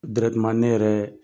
ne yɛrɛ